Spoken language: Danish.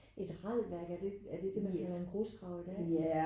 Et ralværk er det det man kalder en grusgrav i dag?